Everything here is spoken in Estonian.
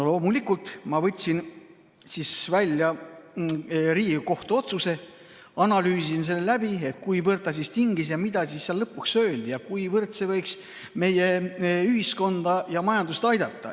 Loomulikult ma võtsin siis välja Riigikohtu otsuse ning analüüsisin seda, et kuivõrd see tingis ja mida seal lõpuks öeldi ja kuivõrd see võiks meie ühiskonda ja majandust aidata.